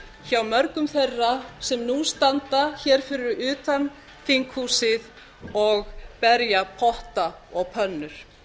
hjá mörgum þeirra sem nú standa hér fyrir utan þinghúsið og berja potta og pönnur